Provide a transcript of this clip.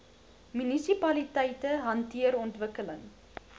munisipaliteite hanteer ontwikkeling